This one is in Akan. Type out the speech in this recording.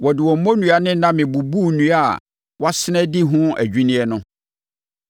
Wɔde wɔn mmonnua ne nname bubuu nnua a wɔasene adi ho adwinneɛ no.